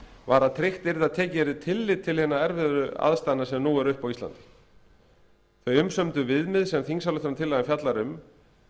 var að tryggt yrði að tekið yrði tillit til hinna erfiðu aðstæðna sem nú eru uppi á íslandi þau umsömdu viðmið sem þingsályktunartillagan fjallar um